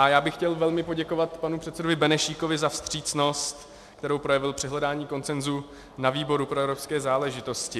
A já bych chtěl velmi poděkovat panu předsedovi Benešíkovi za vstřícnost, kterou projevil při hledání konsenzu na výboru pro evropské záležitosti.